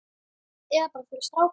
Eða bara fyrir stráka!